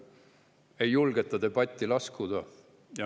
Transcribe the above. Ei julgeta debatti laskuda.